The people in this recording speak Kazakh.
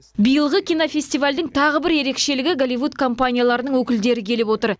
биылғы кинофестивальдің тағы бір ерекшелігі голливуд компанияларының өкілдері келіп отыр